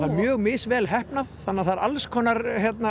mjög misvel heppnað þannig að það er alls konar